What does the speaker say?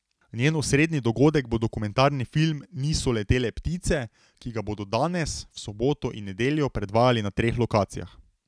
Njen osrednji dogodek bo dokumentarni film Niso letele ptice, ki ga bodo danes, v soboto in nedeljo predvajali na treh lokacijah.